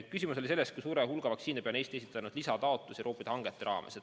Küsimus oli, kui suure hulga vaktsiinide hankimiseks on Eesti esitanud lisataotluse Euroopa hangete raames.